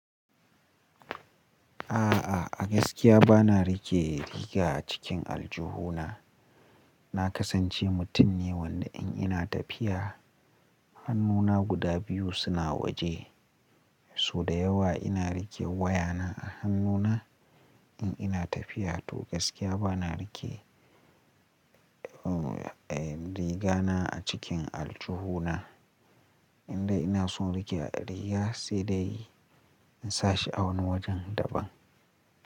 A'a, a gaskiya ba na rike riga a cikin aljihu na. Na kasance mutum ne wanda in ina tafiya hannuna guda biyu suna waje. So da yawa ina rike wayana a hannuna in ina tafiya to gaskiya ba na rike riga na a cikin aljihu na. Inda ina son rike riga sai dai in sa shi a wani wajen daban.